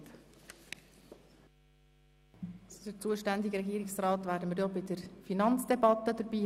Den zuständigen Regierungsrat werden wir auch in der Finanzdebatte bei uns haben.